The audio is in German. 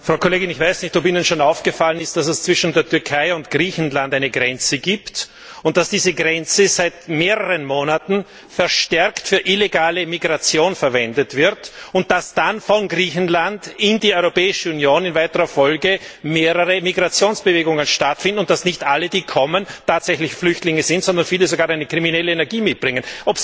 Frau Kollegin, ich weiß nicht, ob Ihnen schon aufgefallen ist, dass es zwischen der Türkei und Griechenland eine Grenze gibt und dass diese Grenze seit mehreren Monaten verstärkt für illegale Migration verwendet wird, und dass dann in weiterer Folge mehrere Migrationsbewegungen von Griechenland in die Europäische Union stattfinden und dass nicht alle, die kommen, tatsächlich Flüchtlinge sind, sondern viele sogar eine kriminelle Energie mitbringen.